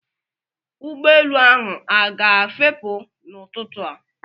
Ụgbọelu ahụ a ga-efepụ n'ụtụtụ a?